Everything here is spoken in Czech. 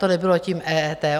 To nebylo tím EET.